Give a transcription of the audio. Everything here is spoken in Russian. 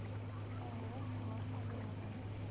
ооо флагман рядом